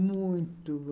Muito.